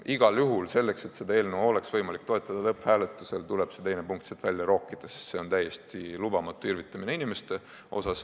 Igal juhul selleks, et seda eelnõu oleks võimalik lõpphääletusel toetada, tuleb see teine lõige siit välja rookida, sest see on täiesti lubamatu irvitamine inimeste üle.